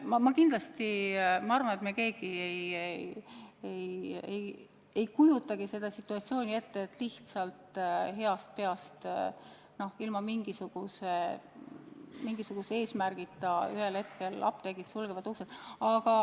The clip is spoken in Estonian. Jah, ma arvan ka, et me keegi ei kujuta ette situatsiooni, et lihtsalt heast peast ilma mingisuguse hoiatuseta ühel hetkel apteegid sulgevad uksed.